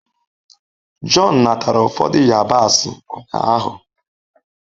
John natara ụfọdụ yabasị ụnyaahụ